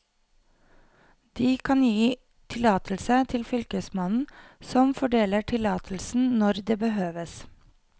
De kan gi tillatelse til fylkesmannen, som fordeler tillatelsen når det behøves.